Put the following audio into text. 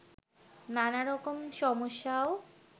নানা রকম সমস্যাও